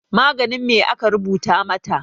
Maganin me aka rubuta mata?